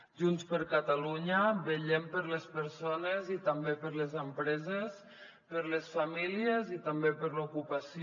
junts per catalunya vetllem per les persones i també per les empreses per les famílies i també per l’ocupació